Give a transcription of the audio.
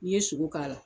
N'i ye sogo k'a la